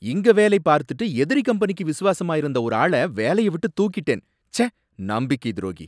இங்க வேலை பார்த்துட்டு எதிரி கம்பெனிக்கு விசுவாசமா இருந்த ஒரு ஆள வேலைய விட்டு தூக்கிட்டேன், ச்சே! நம்பிக்கை துரோகி